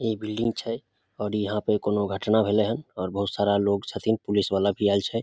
इ बिल्डिंग छै और यहां पे कोई घटना भेले हन और बहुत सारा लोग छथिन पुलिस वाला भी आएल छै।